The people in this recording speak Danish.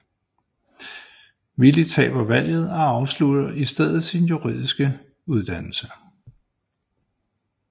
Willie taber valget og afslutter i stedet sin juridiske uddannelse